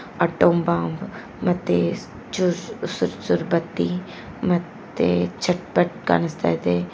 Atom bomb ಮತ್ತೆ ಆ ಚೂರ್ ಸು ಸುರ್ ಸುರ್ ಬತ್ತಿ ಮತ್ತೇ ಚಟ್ ಫಟ್ ಕಾಣಿಸ್ತಾ ಇದೆ.